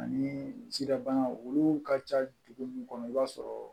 Ani siraban olu ka ca dugu mun kɔnɔ i b'a sɔrɔ